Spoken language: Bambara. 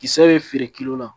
Kisɛ bɛ feere kilo la